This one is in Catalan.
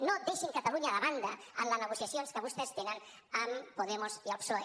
no deixin catalunya de banda en les negociacions que vostès tenen amb podemos i el psoe